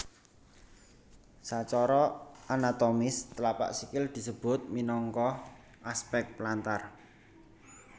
Sacara anatomis tlapak sikil disebut minangka aspek plantar